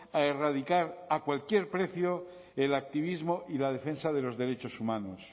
a erradicar a cualquier precio el activismo y la defensa de los derechos humanos